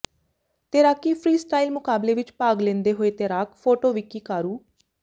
ਤੈਰਾਕੀ freestyle ਮੁਕਾਬਲੇ ਵਿੱਚ ਭਾਗ ਲੇੈਂਦੇ ਹੋਏ ਤੈਰਾਕ ਫੋਟੋ ਵਿੱਕੀ ਘਾਰੂ